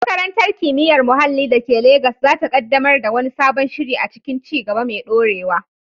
Makarantar Kimiyyar Muhalli da ke Legas za ta kaddamar da wani sabon shiri a cikin ci gaba mai dorewa.